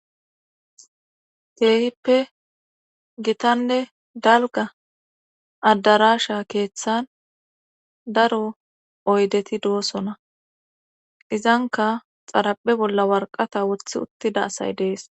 keehippe gitanne dalga addarasha keeththan daro oydeti doosona izanka xarape bolla warqata woththi uttida asay dees.